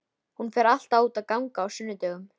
Hún fer alltaf út að ganga á sunnudögum.